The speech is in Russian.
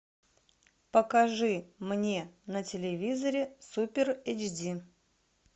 покажи мне на телевизоре супер эйч ди